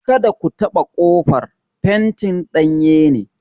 Kada ku taɓa ƙofar; fentin danye ne!